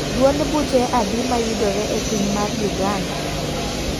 Duond buche adi mayudore e piny mar Uganda?